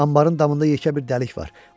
Anbarın damında yekə bir dəlik var.